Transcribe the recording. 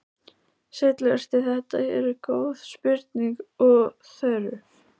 Sæll vertu, þetta eru góð spurning og þörf.